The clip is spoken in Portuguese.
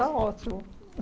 Tá ótimo.